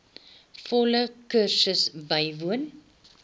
volle kursus bywoon